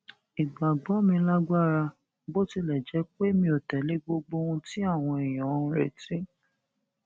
ìgbàgbọ mi lágbára bó tilẹ jẹ pé mi ò tẹlé gbogbo ohun tí àwọn èèyàn ń retí